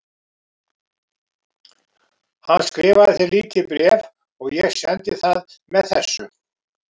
Hann skrifaði þér lítið bréf og ég sendi það með þessu.